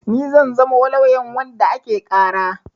Ni zan zamo lauyan wanda ake ƙara.